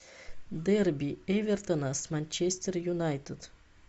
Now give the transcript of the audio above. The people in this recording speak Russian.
дерби эвертона с манчестер юнайтед